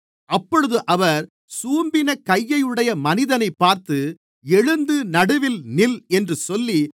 அப்பொழுது அவர் சூம்பின கையையுடைய மனிதனைப் பார்த்து எழுந்து நடுவில் நில் என்று சொல்லி